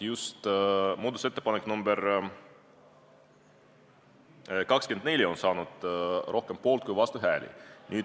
Just muudatusettepanek nr 24 sai rohkem poolt- kui vastuhääli.